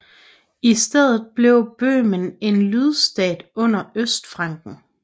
I stedet blev Bøhmen en lydstat under Østfranken